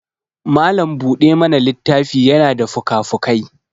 malam buɗe mana littafi yana da fukafukai